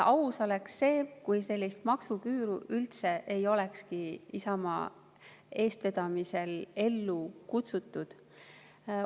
Aus oleks see, kui sellist maksuküüru üldse ei olekski Isamaa eestvedamisel ellu kutsutud.